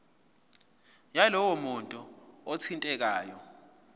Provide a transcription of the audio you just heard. yalowo muntu othintekayo